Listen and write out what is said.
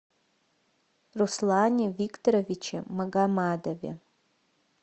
руслане викторовиче магомадове